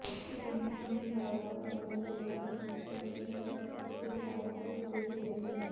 ਰਵੀਨੰਦਨ ਸਿੰਘ ਬਾਜਵਾ ਬਣੇ ਜ਼ਿਲ੍ਹਾ ਪ੍ਰੀਸ਼ਦ ਗੁਰਦਾਸਪੁਰ ਦੇ ਚੇਅਰਮੈਨ